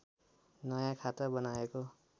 नयाँ खाता बनाएको